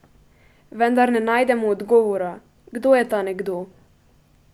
Vendar ne najdemo odgovora, kdo je ta nekdo?